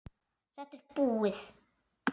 Þetta er búið.